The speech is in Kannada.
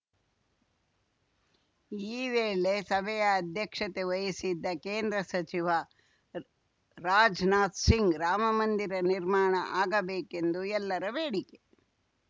ಈ ವೇಳೆ ಸಭೆಯ ಅಧ್ಯಕ್ಷತೆ ವಹಿಸಿದ್ದ ಕೇಂದ್ರ ಸಚಿವ ರಾಜ್‌ನಾಥ್‌ಸಿಂಗ್‌ ರಾಮಮಂದಿರ ನಿರ್ಮಾಣ ಆಗಬೇಕೆಂದು ಎಲ್ಲರ ಬೇಡಿಕೆ